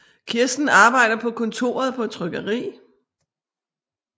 Kirsten arbejder på kontoret på et trykkeri